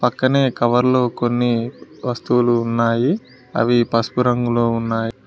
పక్కనే కవర్లు కొన్ని వస్తువులు ఉన్నాయి అవి పసుపు రంగులో ఉన్నాయి.